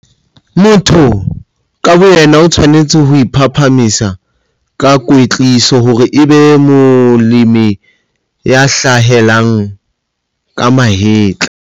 Motho ka boyena o tshwanetse ho iphahamisa ka kwetliso hore e be molemi ya hlahelang ka mahetla.